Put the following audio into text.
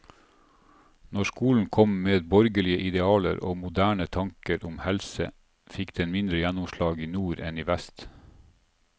Når skolen kom med borgerlige idealer og moderne tanker om helse, fikk den mindre gjennomslag i nord enn i vest.